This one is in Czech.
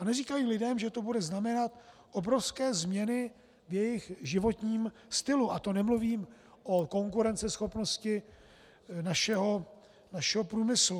A neříkají lidem, že to bude znamenat obrovské změny v jejich životním stylu, a to nemluvím o konkurenceschopnosti našeho průmyslu.